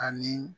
Ani